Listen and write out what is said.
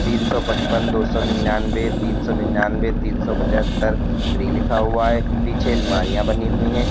तीन सौ पचपन दो सौ निन्यानबे तीन सौ निन्यानबे तीन सौ पचहत्तर फ्री लिखा हुआ है पीछे अलमारियां बनी हुई हैं।